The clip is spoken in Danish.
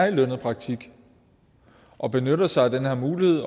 i lønnet praktik og benytter sig af den her mulighed